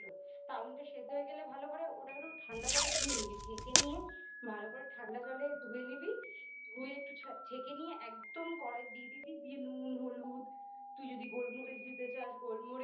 চাউমিনটা সেদ্ধ হয়ে গেলে ভালো করে ওটাকে একটু ঠাণ্ডা জলে ধুয়ে নিবি ছেঁকে নিয়ে ভালো করে ঠান্ডা জলে ধুয়ে নিবি ধুয়ে একটু ছেঁকে নিয়ে একদম কড়াই দিয়ে দিবি দিয়ে নুন হলুদ তুই যদি গোলমরিচ দিতে চাস গোলমরিচ